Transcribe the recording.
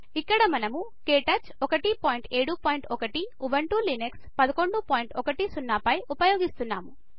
ఇక్కడ మనము KTouch 171 Ubuntu Linux 1110 పై ఉపయోగిస్తున్నాము